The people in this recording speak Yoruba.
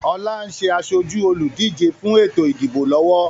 Ọlá ń ṣe asoju olùdíje fún ètò ìdìbò lọ́wọ́